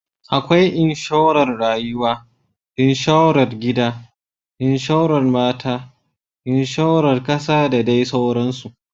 Akwai Inshorar Rayuwa, Inshorar Gida, Inshorar Mota, Inshorar Kasa da dai sauransu.